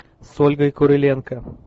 с ольгой куриленко